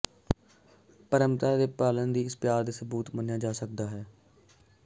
ਪਰੰਪਰਾ ਦੀ ਪਾਲਣਾ ਦੀ ਇਸ ਪਿਆਰ ਦੇ ਸਬੂਤ ਮੰਨਿਆ ਜਾ ਸਕਦਾ ਹੈ